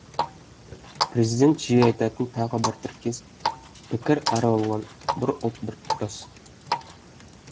президент жиі айтатын тағы бір тіркес пікір әр алуан бір ұлт біртұтас